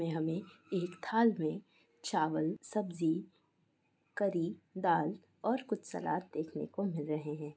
में हमे एक थाल में चावल सब्जी करी दाल और कुछ सलाद देखने को मिल रहे हैं।